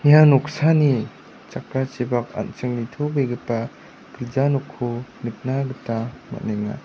ia noksani jakrachipak an·ching nitobegipa gilja nokko nikna gita man·enga.